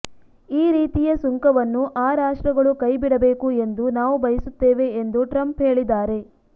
ಈ ರೀತಿಯ ಸುಂಕವನ್ನು ಆ ರಾಷ್ಟ್ರಗಳು ಕೈಬಿಡಬೇಕು ಎಂದು ನಾವು ಬಯಸುತ್ತೇವೆ ಎಂದು ಟ್ರಂಪ್ ಹೇಳಿದ್ದಾರೆ